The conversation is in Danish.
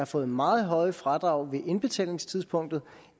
fået meget høje fradrag på indbetalingstidspunktet